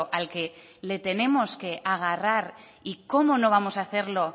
al que le tenemos que agarrar y cómo no vamos a hacerlo